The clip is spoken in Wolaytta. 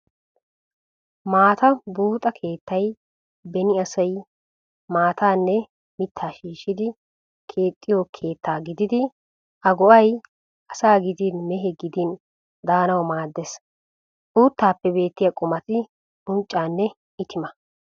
Maata buuxa keettay beni asay maataanne mittaa shishshidi keettiyo keetta gididi a go'ay asaa gidin mehe gidin daanawu maaddees. Uuttaappe beettiyaa qumati :-unccaanne itimaa.